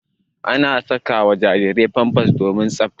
Ana saka wa jarirai pampas domin tsaɓta.